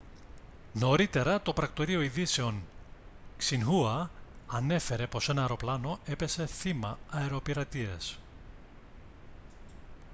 νωρίτερα το πρακτορείο ειδήσεων xinhua ανέφερε πως ένα αεροπλάνο έπεσε θύμα αεροπειρατείας